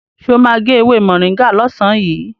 Sọ ma gé ewé mọ̀ríngà lọ́sàn yìí?